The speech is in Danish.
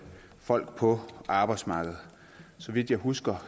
folk på arbejdsmarkedet så vidt jeg husker